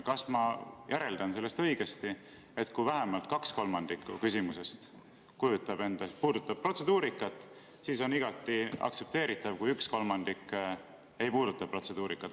Kas ma järeldan sellest õigesti, et kui vähemalt kaks kolmandikku küsimusest puudutab protseduurikat, siis on igati aktsepteeritav, kui üks kolmandik ei puuduta protseduurikat?